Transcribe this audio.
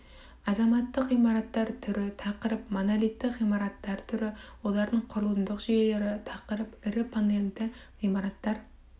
азаматтық ғимараттар түрі тақырып монолитті ғимараттар түрі олардың құрылымдық жүйелері тақырып ірі панельді ғимараттар